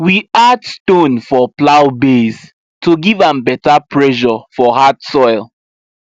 we add stone for plow base to give am better pressure for hard soil